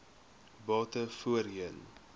bate voorheen